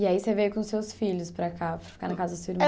E aí você veio com os seus filhos para cá, para ficar na casa dos seus irmãos?